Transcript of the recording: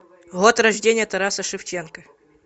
год рождения тараса шевченко